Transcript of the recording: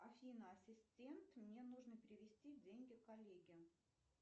афина ассистент мне нужно перевести деньги коллеге